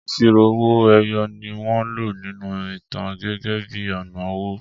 Ìṣirò owo-eyoni wọ́n lò nínú ìtàn gẹ́gẹ́ bí ọ̀nà owó.